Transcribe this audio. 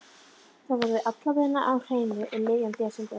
Þetta verður alla vega á hreinu um miðjan desember.